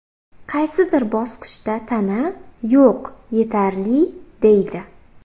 Qaysidir bosqichda tana ‘yo‘q’, ‘yetarli’ deydi.